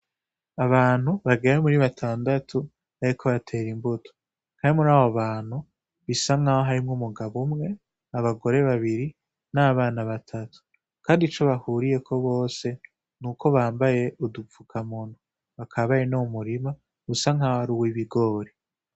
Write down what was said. Abantu bagera muri batandatu bariko batera imbuto. Umwe muri abo bantu bisa nkaho harimwo umugabo umwe, abogore babiri n'abana batatu, kandi ico bahuriyeko bose nuko bambaye udupfukamunwa, bakaba bari no mu murima usa nkaho ari uw'ibigori.